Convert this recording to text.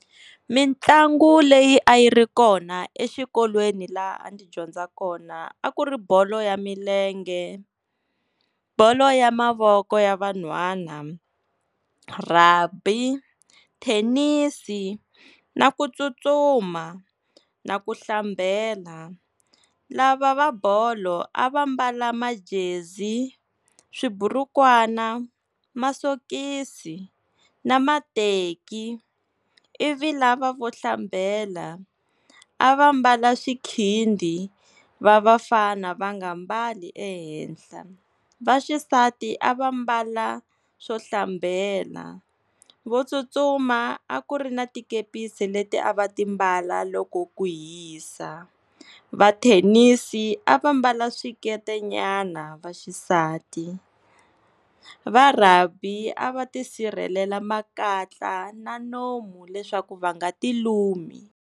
Mintlangu leyi a yi ri kona exikolweni laha ndzi dyondza kona, a ku ri bolo ya milenge, bolo ya mavoko ya van'hwana, Rugby, Thenisi na ku tsutsuma na ku hlambela. Lava va bolo a va mbala majezi, swiiburukwana, masokisi na mateki ivi lava vo hlambela a va mbala swikhindi, va vafana va nga mbali ehenhla vaxisati a va mbala swo hlambela. Vo tsutsuma a ku ri na tikepisi leti a va ti mbala loko ku hisa. Va Thenisi a va mbala swikete nyana vaxisati. Va Rugby a va tisirhelela makatla na nomu leswaku va nga ti lumi.